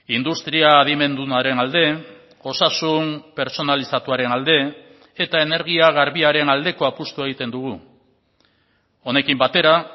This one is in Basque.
industria adimendunaren alde osasun pertsonalizatuaren alde eta energia garbiaren aldeko apustua egiten dugu honekin batera